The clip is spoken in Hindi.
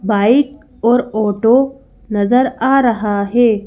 बाइक और ऑटो नजर आ रहा है।